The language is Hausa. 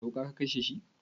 Da wuƙa ka kashe shi?